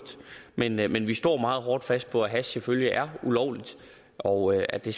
men vi men vi står meget hårdt fast på at hash selvfølgelig er ulovligt og at det